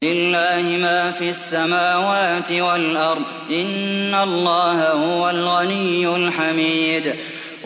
لِلَّهِ مَا فِي السَّمَاوَاتِ وَالْأَرْضِ ۚ إِنَّ اللَّهَ هُوَ الْغَنِيُّ الْحَمِيدُ